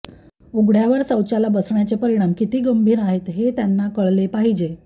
उघड्यावर शौचाला बसण्याचे परिणाम किती गंभीर आहेत हे त्यांना कळले पाहिजे